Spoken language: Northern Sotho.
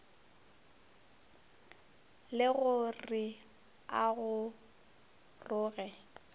le go re a goroge